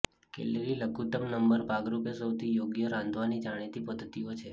calorie લઘુત્તમ number ભાગરૂપે સૌથી યોગ્ય રાંધવાની જાણીતી પદ્ધતિઓ છે